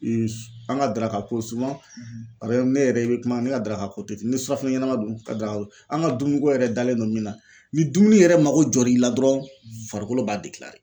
An ka daraka ko a bɛ ne yɛrɛ i bɛ kuma ne ka daraka ko te ten ni surafɛnɛ ɲanama dun ka da an ka dumuniko yɛrɛ dalen don min na, ni dumuni yɛrɛ mako jɔra i la dɔrɔn farikolo b'a .